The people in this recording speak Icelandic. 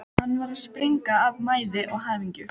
Hann var að springa af mæði og hamingju.